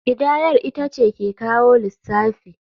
Kidayar ita ce ke kawo lissafi.